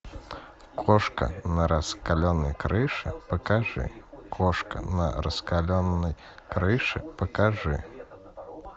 кошка на раскаленной крыше покажи кошка на раскаленной крыше покажи